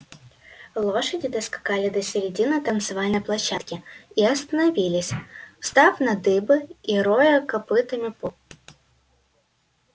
лошади доскакали до середины танцевальной площадки и остановились встав на дыбы и роя копытами пол